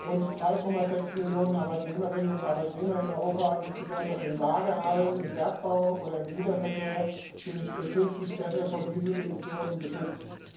Rund 3,6 Millionen Arbeitnehmerinnen und Arbeitnehmer in Europa, insbesondere in Lagerhallen, im Bergbau oder im Güterverkehr, sind künftig besser vor Dieselemissionen geschützt.